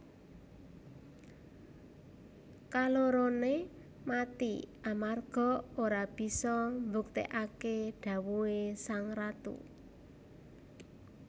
Kaloroné mati amarga ora bisa mbuktèkaké dhawuhé sang ratu